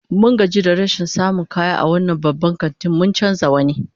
Mun gaji da rashin samun kaya a wannan babban kantin, mun canza wani